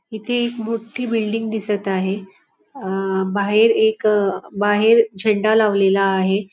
इथे एक मोट्ठी बिल्डिंग दिसत आहे अह बाहेर एक बाहेर झेंडा लावलेला आहे.